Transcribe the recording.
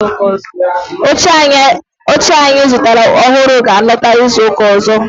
Oche anyi zutara ohuru ga alota izuka ozo